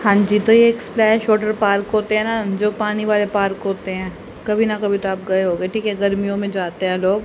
हां जी तो ये एक स्प्लैश वॉटर पार्क होते है ना जो पानी वाले पार्क होते है कभी ना कभी तो आप गए होगे ठीक है गर्मियों में जाते है लोग।